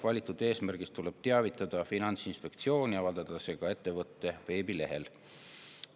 Valitud eesmärgist tuleb teavitada Finantsinspektsiooni ja avaldada see ka ettevõtte veebilehel.